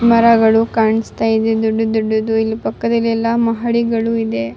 ಮರಗಳು ಕಾಣಿಸ್ತಾ ಇದೆ. ದೊಡ್ಡ ದೊಡ್ಡದು ಮಹಡಿಗಳಿದೆ ಇದೆ --